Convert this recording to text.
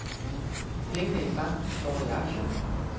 Pengene i banken står i aktier.